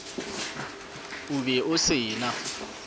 o be o se na